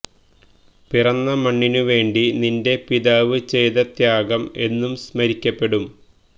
പിറന്ന മണ്ണിനു വേണ്ടി നിന്റെ പിതാവ് ചെയ്ത ത്യാഗം എന്നും സ്മരിക്കപ്പെടും